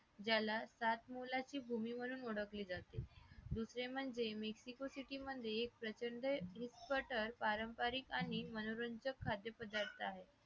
ज्याला सात मोलाची भूमी म्हणून ओळखले जाते दुसरे म्हणजे miscity city म्हणजे एक प्रचंड वीस पटर पारंपारिक आणि मनोरंजक खाद्य पदार्थ आहे